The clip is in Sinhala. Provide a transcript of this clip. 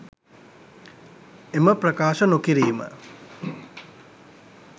එම ප්‍රකාශ නොකිරීම